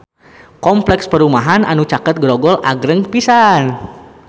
Kompleks perumahan anu caket Grogol agreng pisan